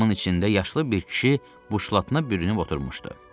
Viqvamın içində yaşlı bir kişi buşlatına bürünüb oturmuşdu.